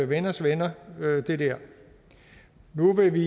venners venner nu vil vi